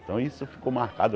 Então isso ficou marcado.